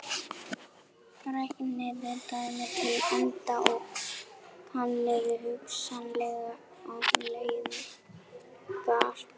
Reiknið dæmið til enda og kannið hugsanlegar afleiðingar.